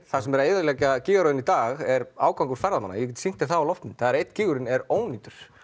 það sem er að eyðileggja gígaröðina í dag er í ágangur ferðamanna ég get sýnt þér það á loftmynd einn gígurinn er ónýtur